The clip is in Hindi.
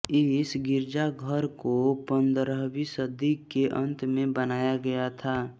इस गिरजाघर को पंदरहवीं सदी के अंत में बनाया गया था